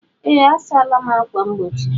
Ee, a sala m ákwà mgbochi.